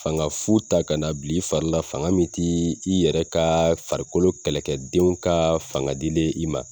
Fanga fu ta ka na bil'i farila, fanga min t'i i yɛrɛ ka farikolo kɛlɛkɛdenw ka fanga dilen i ma.